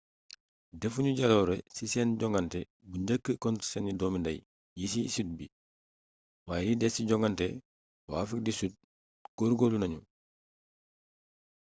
defuñu jaloore ci seen joŋante bu njëkk contre seeni doomi nday yi ci sud bi waaye li des ci joŋante waa afrique du sud góor-góorlu nañu